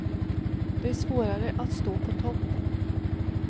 Det är svårare att stå på topp.